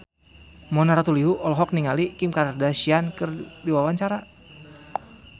Mona Ratuliu olohok ningali Kim Kardashian keur diwawancara